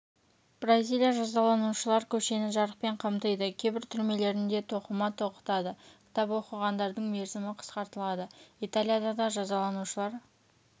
бразилия жазаланушылар көшені жарықпен қамтиды кейбір түрмелерінде тоқыма тоқытады кітап оқығандардың мерзімі қысқартылады италияда да жазаланушылар